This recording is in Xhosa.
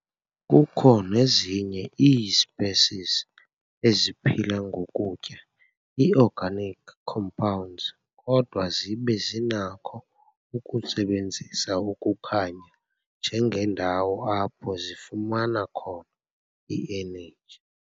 Kukho nezinye ii-species eziphila ngokutya ii-organic compounds, kodwa zibe zinakho ukusebenzisa ukukhanya njengendawo apho zifumana khona i-energy.